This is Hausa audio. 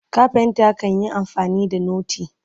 carpenter kanyi amfani da noti